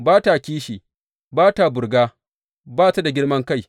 Ba ta kishi, ba ta burga, ba ta da girman kai.